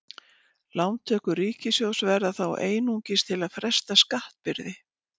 Lántökur ríkissjóðs verða þá einungis til að fresta skattbyrði.